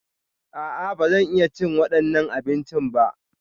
A'a, ba zan iya cin waɗannan abincin ba.